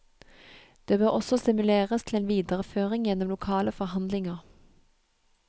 Det bør også stimuleres til en videreføring gjennom lokale forhandlinger.